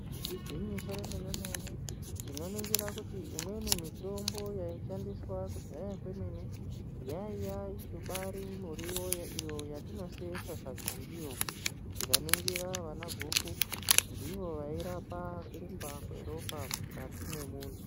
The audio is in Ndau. Igwinyiso remene mene tinoringira kuti imweni mitombo yaishandiswa kudhaya kwemene yaibari miriwo iyo yetino several sadza ndiyo. Tikaningira vana guru ndivo vairapa kurumba kweropa mukati mwemuntu.